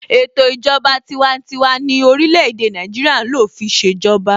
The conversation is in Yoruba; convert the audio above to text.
Ètò ìjọba tiwantiwa ni orílẹ̀-èdè Nàìjíríà ń lò fi ṣèjọba.